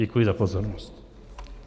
Děkuji za pozornost.